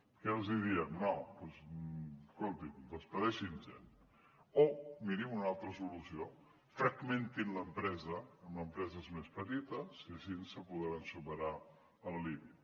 què els diem no doncs escoltin acomiadin gent o mirin una altra solució fragmentin l’empresa en empreses més petites i així podran superar el límit